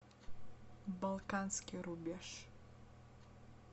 балканский рубеж